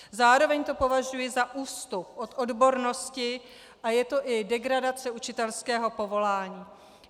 Zároveň to považuji za ústup od odbornosti, a je to i degradace učitelského povolání.